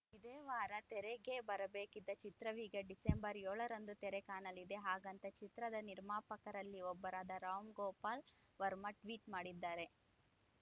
ಇದೇ ವಾರ ತೆರೆಗೆ ಬರಬೇಕಿದ್ದ ಚಿತ್ರವೀಗ ಡಿಸೆಂಬರ್‌ ಏಳರಂದು ತೆರೆ ಕಾಣಲಿದೆ ಹಾಗಂತ ಚಿತ್ರದ ನಿರ್ಮಾಪಕರಲ್ಲಿ ಒಬ್ಬರಾದ ರಾಮ್‌ ಗೋಪಾಲ್‌ ವರ್ಮ ಟ್ವೀಟ್‌ ಮಾಡಿದ್ದಾರೆ